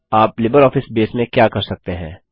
आप LibreOffice Base में क्या कर सकते हैं